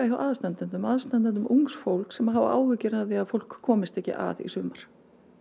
hjá aðstandendum aðstandendum ungs fólks sem hafa áhyggjur af því að fólk komist ekki að í sumar